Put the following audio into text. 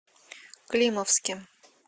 климовске